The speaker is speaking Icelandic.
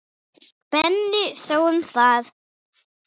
Benni sá um það.